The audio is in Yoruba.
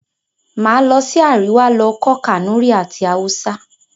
Màá lọ sí Àríwá lọ kọ́ Kànúrí àti Haúsá.